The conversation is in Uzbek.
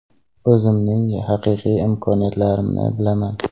O‘zimning haqiqiy imkoniyatlarimni bilaman.